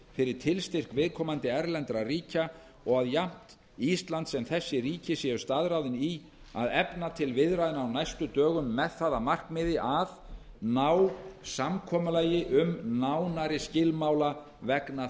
fyrir tilstyrk viðkomandi erlendra ríkja og að jafnt ísland sem þessi ríki séu staðráðin í að efna til viðræðna á næstu dögum með það að markmiði að ná samkomulagi um nánari skilmála vegna